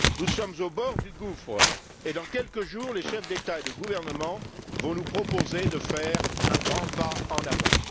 Nous sommes au bord du gouffre et, dans quelques jours, les chefs d'État et de gouvernement vont nous proposer de faire un grand pas en avant.